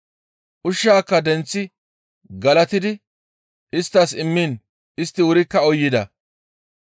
Ushshaaka denththi galatidi isttas immiin istti wurikka uyida.